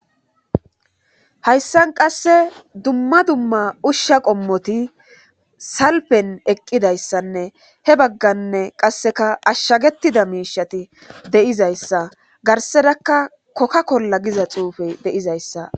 Haysan qase dumma dumma usha qommoti salfen eqidaysanne he bagane qasekka ashagetida mishati de'izaysa garserakka koka kola giza xufey de'izaysa